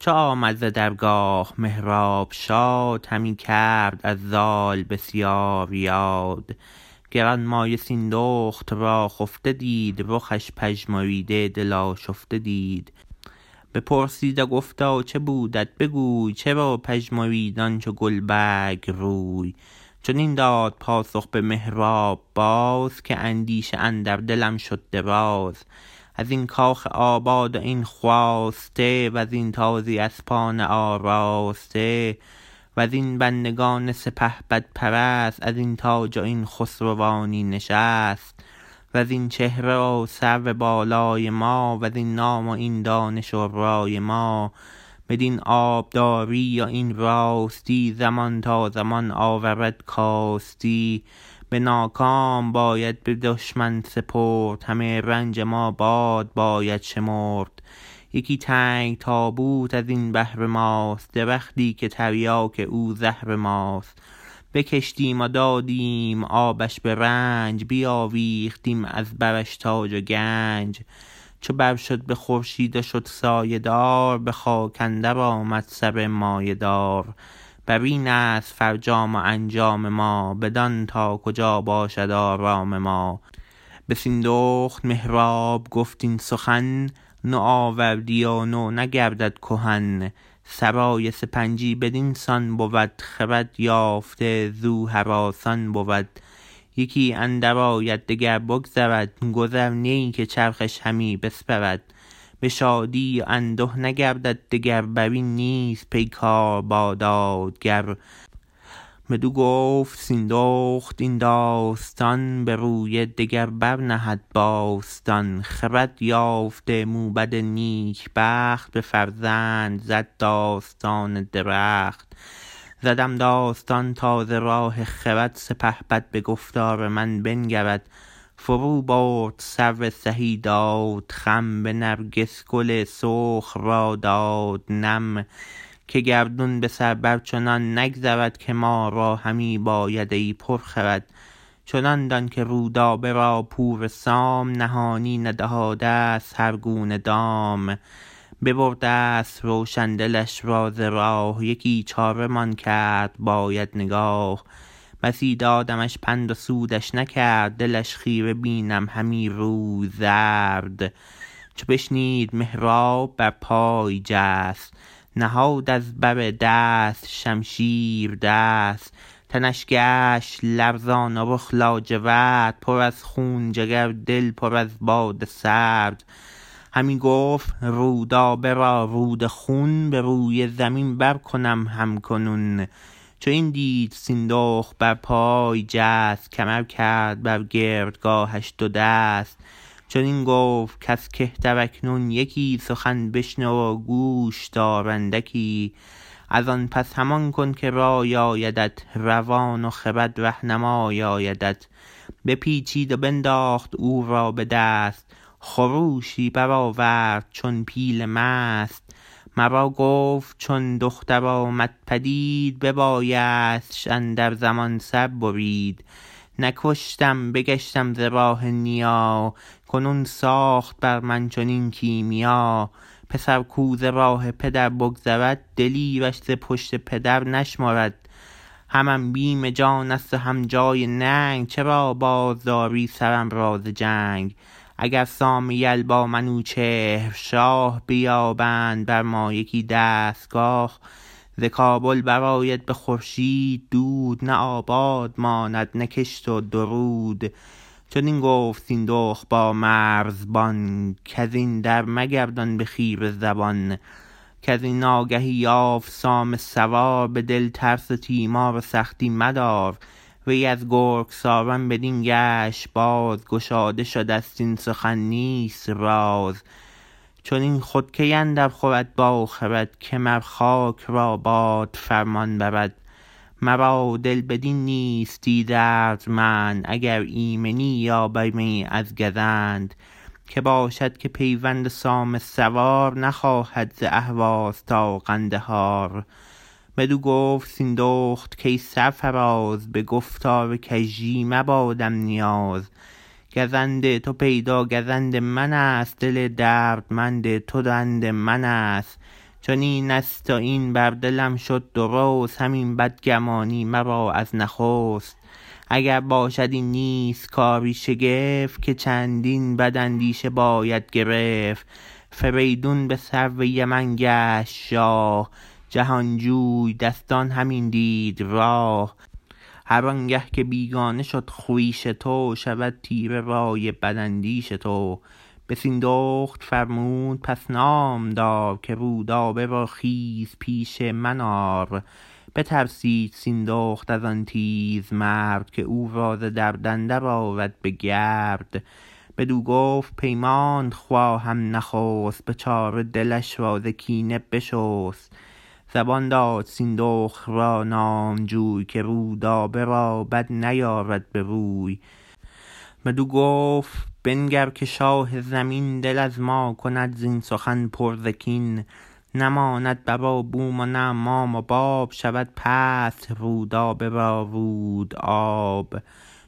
چو آمد ز درگاه مهراب شاد همی کرد از زال بسیار یاد گرانمایه سیندخت را خفته دید رخش پژمریده دل آشفته دید بپرسید و گفتا چه بودت بگوی چرا پژمرید آن چو گلبرگ روی چنین داد پاسخ به مهراب باز که اندیشه اندر دلم شد دراز ازین کاخ آباد و این خواسته وزین تازی اسپان آراسته وزین بندگان سپهبدپرست ازین تاج و این خسروانی نشست وزین چهره و سرو بالای ما وزین نام و این دانش و رای ما بدین آبداری و این راستی زمان تا زمان آورد کاستی به ناکام باید به دشمن سپرد همه رنج ما باد باید شمرد یکی تنگ تابوت ازین بهر ماست درختی که تریاک او زهر ماست بکشتیم و دادیم آبش به رنج بیاویختیم از برش تاج و گنج چو بر شد به خورشید و شد سایه دار به خاک اندر آمد سر مایه دار برینست فرجام و انجام ما بدان تا کجا باشد آرام ما به سیندخت مهراب گفت این سخن نوآوردی و نو نگردد کهن سرای سپنجی بدین سان بود خرد یافته زو هراسان بود یکی اندر آید دگر بگذرد گذر نی که چرخش همی بسپرد به شادی و انده نگردد دگر برین نیست پیکار با دادگر بدو گفت سیندخت این داستان بروی دگر بر نهد باستان خرد یافته موبد نیک بخت به فرزند زد داستان درخت زدم داستان تا ز راه خرد سپهبد به گفتار من بنگرد فرو برد سرو سهی داد خم به نرگس گل سرخ را داد نم که گردون به سر بر چنان نگذرد که ما را همی باید ای پرخرد چنان دان که رودابه را پور سام نهانی نهادست هر گونه دام ببردست روشن دلش را ز راه یکی چاره مان کرد باید نگاه بسی دادمش پند و سودش نکرد دلش خیره بینم همی روی زرد چو بشنید مهراب بر پای جست نهاد از بر دست شمشیر دست تنش گشت لرزان و رخ لاجورد پر از خون جگر دل پر از باد سرد همی گفت رودابه را رود خون بروی زمین بر کنم هم کنون چو این دید سیندخت برپای جست کمر کرد بر گردگاهش دو دست چنین گفت کز کهتر اکنون یکی سخن بشنو و گوش دار اندکی ازان پس همان کن که رای آیدت روان و خرد رهنمای آیدت بپیچید و بنداخت او را بدست خروشی برآورد چون پیل مست مرا گفت چون دختر آمد پدید ببایستش اندر زمان سر برید نکشتم بگشتم ز راه نیا کنون ساخت بر من چنین کیمیا پسر کو ز راه پدر بگذرد دلیرش ز پشت پدر نشمرد همم بیم جانست و هم جای ننگ چرا بازداری سرم را ز جنگ اگر سام یل با منوچهر شاه بیابند بر ما یکی دستگاه ز کابل برآید به خورشید دود نه آباد ماند نه کشت و درود چنین گفت سیندخت با مرزبان کزین در مگردان به خیره زبان کزین آگهی یافت سام سوار به دل ترس و تیمار و سختی مدار وی از گرگساران بدین گشت باز گشاده شدست این سخن نیست راز چنین گفت مهراب کای ماه روی سخن هیچ با من به کژی مگوی چنین خود کی اندر خورد با خرد که مر خاک را باد فرمان برد مرا دل بدین نیستی دردمند اگر ایمنی یابمی از گزند که باشد که پیوند سام سوار نخواهد ز اهواز تا قندهار بدو گفت سیندخت کای سرفراز به گفتار کژی مبادم نیاز گزند تو پیدا گزند منست دل دردمند تو بند منست چنین است و این بر دلم شد درست همین بدگمانی مرا از نخست اگر باشد این نیست کاری شگفت که چندین بد اندیشه باید گرفت فریدون به سرو یمن گشت شاه جهانجوی دستان همین دید راه هرانگه که بیگانه شد خویش تو شود تیره رای بداندیش تو به سیندخت فرمود پس نامدار که رودابه را خیز پیش من آر بترسید سیندخت ازان تیز مرد که او را ز درد اندر آرد به گرد بدو گفت پیمانت خواهم نخست به چاره دلش را ز کینه بشست زبان داد سیندخت را نامجوی که رودابه را بد نیارد بروی بدو گفت بنگر که شاه زمین دل از ما کند زین سخن پر ز کین نه ماند بر و بوم و نه مام و باب شود پست رودابه با رودآب